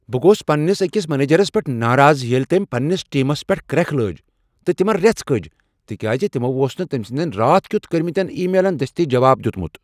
بہٕ گوس پنٛنس أکس منیجرس پیٹھ ناراض ییٚلہ تٔمۍ پنٛنس ٹیمس پیٹھ کرٛیکھ لٲج تہٕ تمن ریژھٕ کجہ، تکیاز تمو اوس نہٕ تٔمۍ سٕندین راتھ کیتھ کٔرۍمٕتین ای میلن دستی جواب دیتمت۔